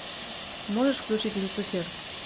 можешь включить люцифер